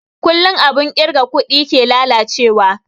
Kullun abun kirga kuɗi ke lalace wa